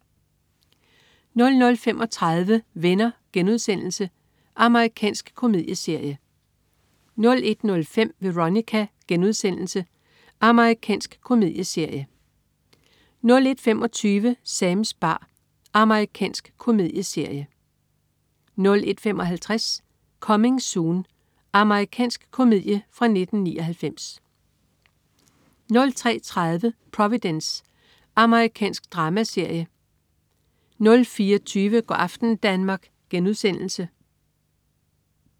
00.35 Venner.* Amerikansk komedieserie 01.05 Veronica.* Amerikansk komedieserie 01.25 Sams bar. Amerikansk komedieserie 01.55 Coming Soon. Amerikansk komedie fra 1999 03.30 Providence. Amerikansk dramaserie 04.20 Go' aften Danmark*